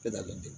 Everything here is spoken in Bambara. Bɛɛ da bɛ ten